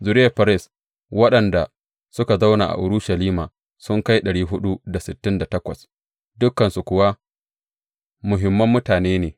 Zuriyar Ferez waɗanda suka zauna a Urushalima sun kai ɗari huɗu da sittin da takwas, dukansu kuwa muhimman mutane ne.